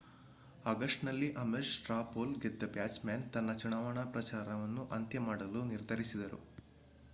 ಆಗಸ್ಟ್‌ನಲ್ಲಿ Ames straw poll ಗೆದ್ದ Bachmann ತನ್ನ ಚುನಾವಣಾ ಪ್ರಚಾರವನ್ನು ಅಂತ್ಯಮಾಡಲು ನಿರ್ಧರಿಸಿದರು